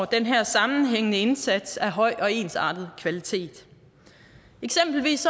den her sammenhængende indsats af høj og ensartet kvalitet eksempelvis